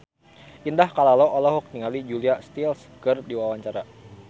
Indah Kalalo olohok ningali Julia Stiles keur diwawancara